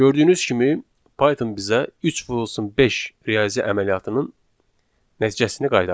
Gördüyünüz kimi Python bizə 3 vurulsun 5 riyazi əməliyyatının nəticəsini qaytardı.